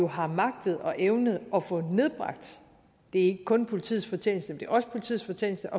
har magtet og evnet at få nedbragt det er ikke kun politiets fortjeneste men det er også politiets fortjeneste